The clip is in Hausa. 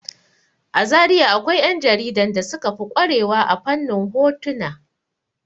A Zariya akwai 'ƴan jaridan da suka fi ƙware wa a fannin hotuna.